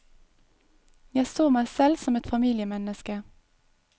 Jeg så meg selv som et familiemenneske.